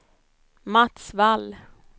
Mats Wall